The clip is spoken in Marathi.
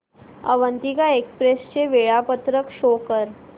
अवंतिका एक्सप्रेस चे वेळापत्रक शो कर